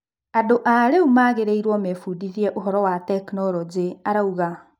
"Andũ airũ magĩrĩirwo mebundithie ũhoro wa tekinoronjĩ," arauga.